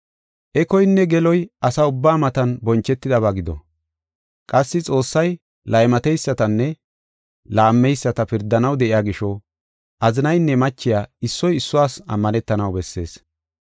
Ekoynne geloy asa ubbaa matan bonchetidaba gido. Qassi Xoossay laymateysatanne laammeyisata pirdanaw de7iya gisho azinaynne machiya issoy issuwas ammanetanaw bessees.